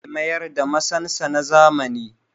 Ya ce zai mayar da masansa na zamani